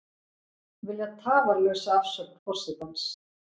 Vilja tafarlausa afsögn forsetans